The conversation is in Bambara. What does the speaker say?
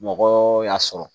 Mɔgɔ y'a sɔrɔ